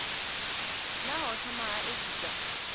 naa ho thoma ha edziswa